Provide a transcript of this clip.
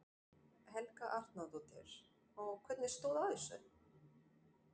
Helga Arnardóttir: Og hvernig stóð á þessu?